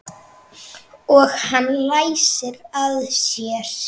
Og hann læsir að sér.